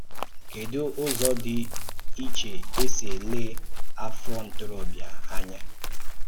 Kédú ụzọ dị iche e si élé afọ̀ ntoróbịa ányá?